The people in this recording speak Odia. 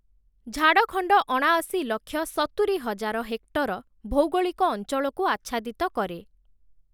ଝାଡ଼ଖଣ୍ଡ ଅଣାଅଶୀ ଲକ୍ଷ ସତୁରି ହଜାର ହେକ୍ଟର ଭୌଗୋଳିକ ଅଞ୍ଚଳକୁ ଆଚ୍ଛାଦିତ କରେ ।